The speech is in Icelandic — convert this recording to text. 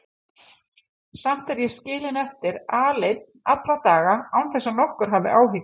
Samt er ég skilinn eftir aleinn alla daga án þess að nokkur hafi áhyggjur.